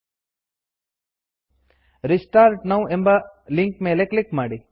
restart now restart now ಎಂಬ link ಮೇಲೆ click ಮಾಡಿ